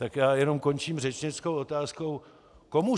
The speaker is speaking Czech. Tak já jenom končím řečnickou otázkou: Komu